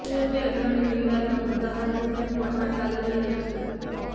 અયોધ્યા જમીન વિવાદનો મુદ્દો હાલ સુપ્રીમ કોર્ટમાં ચાલી રહ્યો છે